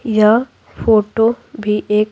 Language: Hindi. यह फोटो भी एक--